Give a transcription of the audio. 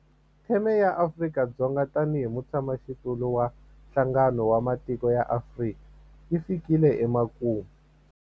Theme ya Afrika-Dzonga tanihi mutshamaxitulu wa Nhlangano wa Matiko ya Afrika yi fikile emakumu.